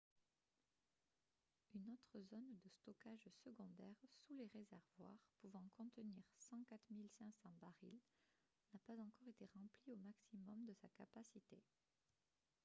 une autre zone de stockage secondaire sous les réservoirs pouvant contenir 104 500 barils n’a pas encore été remplie au maximum de sa capacité